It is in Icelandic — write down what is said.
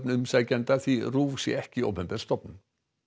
umsækjenda því RÚV sé ekki opinber stofnun